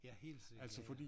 Ja helt sikkert ja ja